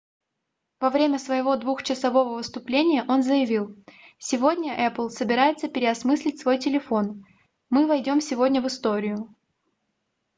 во время своего двухчасового выступления он заявил сегодня apple собирается переосмыслить свой телефон мы войдём сегодня в историю